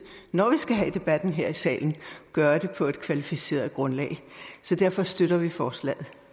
når vi skal have debatten her i salen gøre det på et kvalificeret grundlag derfor støtter vi forslaget